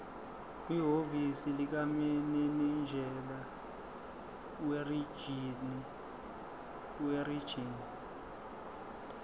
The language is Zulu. kwihhovisi likamininjela werijini